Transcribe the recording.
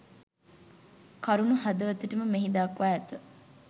කරුණු හදවතටම මෙහි දක්වා ඇත.